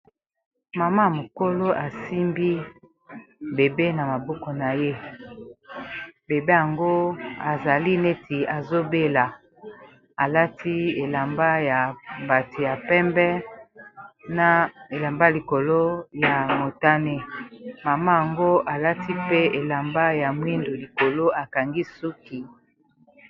Mama mokolo asimbi bebe na maboko na ye bebe yango azali neti azobela alati elamba ya bato ya pembe na elamba likolo ya motane mama yango alati pe elamba ya mwindu likolo akangi suki.